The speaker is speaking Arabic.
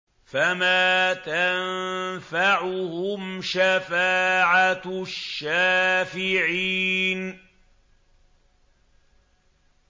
فَمَا تَنفَعُهُمْ شَفَاعَةُ الشَّافِعِينَ